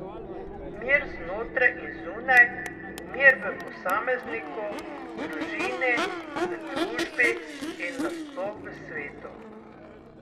Mir znotraj in zunaj, mir v posamezniku, družini, v družbi in na sploh v svetu.